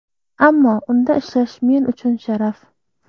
Ammo unda ishlash men uchun sharaf.